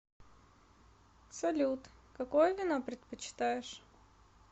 салют какое вино предпочитаешь